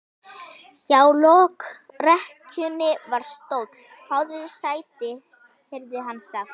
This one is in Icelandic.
Hjá lokrekkjunni var stóll: Fáðu þér sæti, heyrði hann sagt.